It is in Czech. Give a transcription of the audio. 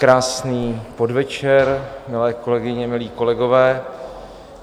Krásný podvečer, milé kolegyně, milí kolegové.